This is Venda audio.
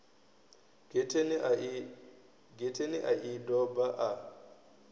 getheni a i doba a